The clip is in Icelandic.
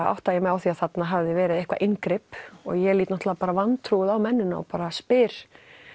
átta ég mig á því að þarna hafi verið eitthvað inngrip og ég lít náttúrulega vantrúuð á mennina og spyr